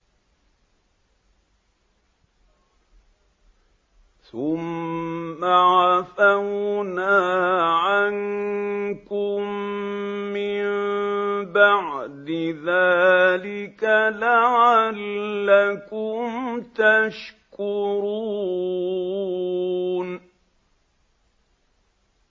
ثُمَّ عَفَوْنَا عَنكُم مِّن بَعْدِ ذَٰلِكَ لَعَلَّكُمْ تَشْكُرُونَ